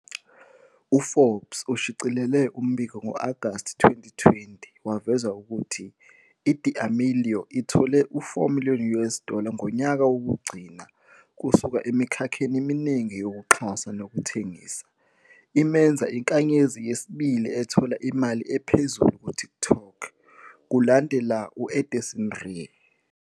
U-Forbes ushicilele umbiko ngo-Agasti 2020 waveza ukuthi i-D'Amelio ithole u- 4 million US dollar ngonyaka wokugcina kusuka emikhakheni eminingi yokuxhasa nokuthengisa, imenza inkanyezi yesibili ethola imali ephezulu kuTikTok, kulandela u-Addison Rae.